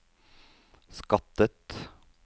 skattet